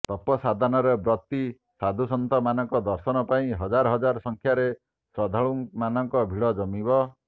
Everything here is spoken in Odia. ତପ ସାଧନରେ ବ୍ରତୀ ସାଧୁସନ୍ଥମାନଙ୍କ ଦର୍ଶନ ପାଇଁ ହଜାର ହଜାର ସଂଖ୍ୟାରେ ଶ୍ରଦ୍ଧାଳୁମାନଙ୍କ ଭିଡ଼ ଜମିବ